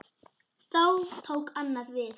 Þá tók annað við.